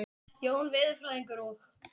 Jón veðurfræðingur og